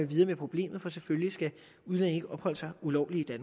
videre med problemet for selvfølgelig skal udlændinge ikke opholde sig ulovligt i